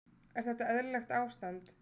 Er þetta eðlilegt ástand?